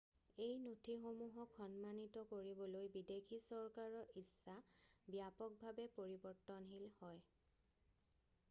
এই নথিসমূহক সন্মানিত কৰিবলৈ বিদেশী চৰকাৰৰ ইচ্ছা ব্যাপকভাৱে পৰিৱৰ্তনশীল হয়৷